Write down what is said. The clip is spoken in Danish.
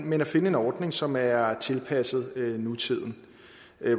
men at finde en ordning som er tilpasset nutiden